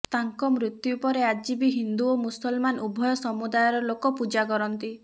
ତାଙ୍କ ମୃତ୍ୟୁ ପରେ ଆଜି ବି ହିନ୍ଦୁ ଓ ମୁସଲମାନ ଉଭୟ ସମୁଦାୟର ଲୋକ ପୂଜା କରନ୍ତି